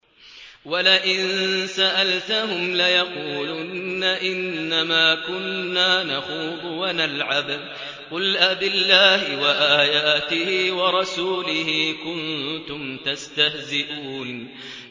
وَلَئِن سَأَلْتَهُمْ لَيَقُولُنَّ إِنَّمَا كُنَّا نَخُوضُ وَنَلْعَبُ ۚ قُلْ أَبِاللَّهِ وَآيَاتِهِ وَرَسُولِهِ كُنتُمْ تَسْتَهْزِئُونَ